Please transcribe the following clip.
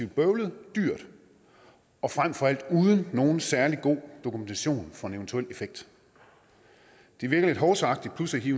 bøvlet dyrt og frem for alt uden nogen særlig god dokumentation for en eventuel effekt det virker lidt hovsaagtigt pludselig